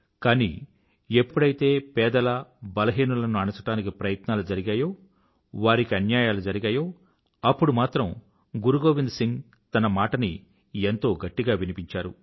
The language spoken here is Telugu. కానీ ఎప్పుడెప్పుడైతే పేదల బలహీనులను అణచడానికి ప్రయత్నాలు జరిగాయో వారికి అన్యాయాలు జరిగాయో అప్పుడప్పుడు మాత్రం గురు గోవింద్ సింగ్ తన మాటని ఎంతో గట్టిగా వినిపించారు